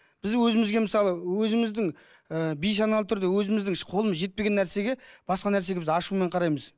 біз өзімізге мысалы өзіміздің ыыы бейсаналы түрде өзіміздің қолымыз жетпеген нәрсеге басқа нәрсеге біз ашумен қараймыз